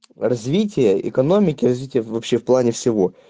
развитие экономики развиты в общем плане всего